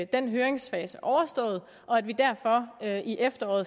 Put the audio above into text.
den høringsfase overstået og at vi derfor i efteråret